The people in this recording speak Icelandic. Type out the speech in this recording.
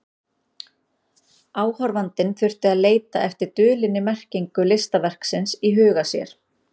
Áhorfandinn þurfti að leita eftir dulinni merkingu listaverksins í huga sér.